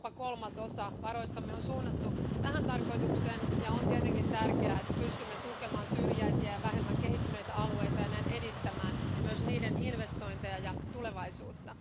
Jopa kolmasosa varoistamme on suunnattu tähän tarkoitukseen ja on tietenkin tärkeää, että pystymme tukemaan syrjäisiä ja vähemmän kehittyneitä alueita ja näin edistämään myös niiden investointeja ja tulevaisuutta.